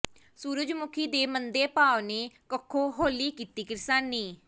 ਸੂਰਜਮੁਖੀ ਦੇ ਮੰਦੇ ਭਾਅ ਨੇ ਕੱਖੋਂ ਹੌਲੀ ਕੀਤੀ ਕਿਰਸਾਨੀ